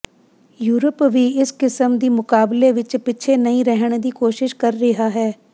Europe ਵੀ ਇਸ ਕਿਸਮ ਦੀ ਮੁਕਾਬਲੇ ਵਿਚ ਪਿੱਛੇ ਨਹੀਂ ਰਹਿਣ ਦੀ ਕੋਸ਼ਿਸ਼ ਕਰ ਰਿਹਾ ਹੈ